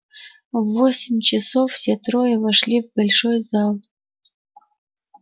в восемь часов все трое вошли в большой зал